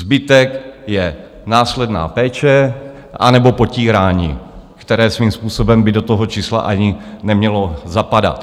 Zbytek je následná péče anebo potírání, které svým způsobem by do toho čísla ani nemělo zapadat.